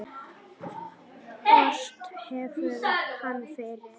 Ort hefur hann fyrr.